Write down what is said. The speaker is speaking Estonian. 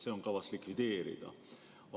See on kavas likvideerida.